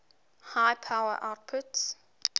high power outputs